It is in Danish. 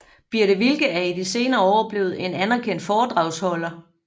Birthe Wilke er i de senere år blevet en anerkendt foredragsholder